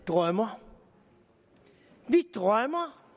drømmer vi drømmer